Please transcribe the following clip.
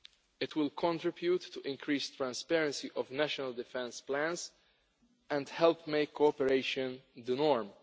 It will contribute to the increased transparency of national defence plans and help make cooperation the norm.